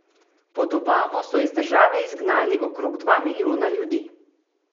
Pod Obamo so iz države izgnali okrog dva milijona ljudi.